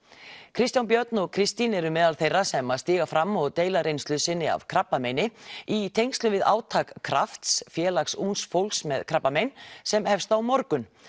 Kristján Björn og Kristín eru meðal þeirra sem stíga fram og deila reynslu sinni af krabbameini í tengslum við átak krafts félags ungs fólks með krabbamein sem hefst á morgun